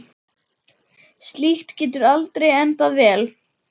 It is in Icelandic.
Slíkt getur aldrei endað vel.